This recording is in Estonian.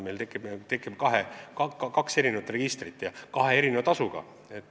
Meil tekib kaks registrit kahe erineva tasuga.